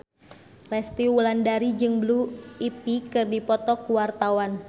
Resty Wulandari jeung Blue Ivy keur dipoto ku wartawan